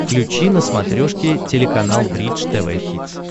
включи на смотрешке телеканал бридж тв хитс